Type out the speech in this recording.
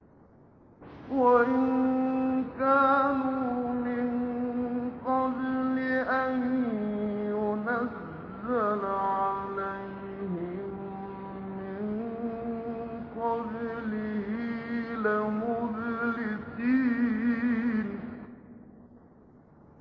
وَإِن كَانُوا مِن قَبْلِ أَن يُنَزَّلَ عَلَيْهِم مِّن قَبْلِهِ لَمُبْلِسِينَ